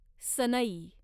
सनई